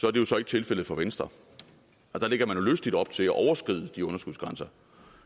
er det jo så ikke tilfældet for venstre der lægger man jo lystigt op til at overskride de underskudsgrænser